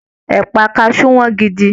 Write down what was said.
Ẹpa kasu wọn gidigidi.